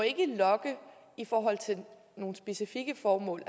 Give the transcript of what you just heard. logge i forhold til nogle specifikke formål